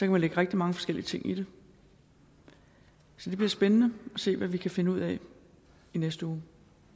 man lægge rigtig mange forskellige ting i det så det bliver spændende at se hvad vi kan finde ud af i næste uge